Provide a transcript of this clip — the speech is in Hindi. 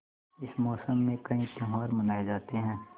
इस मौसम में कई त्यौहार मनाये जाते हैं